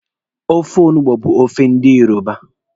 Ofe ọgbọnọ bụ ofe ndi Yoruba.